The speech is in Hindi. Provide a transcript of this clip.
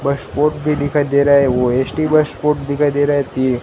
भी दिखाई दे रहा है वो एस_टी दिखाई दे रहा है तीन--